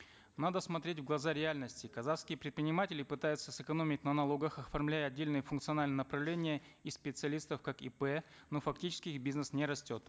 надо смотреть в глаза реальности казахские предприниматели пытаются сэкономить на налогах оформляя отдельные функциональные направления и специалистов как ип но фактически их бизнес не растет